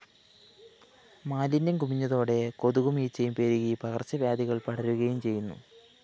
മാലിന്യം കുമിഞ്ഞതോടെ കൊതുകും ഈച്ചയും പെരുകി പകര്‍ച്ചവ്യാധികള്‍ പടരുകയും ചെയ്യുന്നു